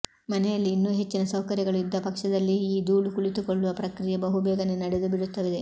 ಮನೆಯಲ್ಲಿ ಇನ್ನು ಹೆಚ್ಚಿನ ಸೌಕರ್ಯಗಳು ಇದ್ದ ಪಕ್ಷದಲ್ಲಿ ಈ ಧೂಳು ಕುಳಿತುಕೊಳ್ಳುವ ಪ್ರಕ್ರಿಯೆ ಬಹುಬೇಗನೇ ನಡೆದುಬಿಡುತ್ತದೆ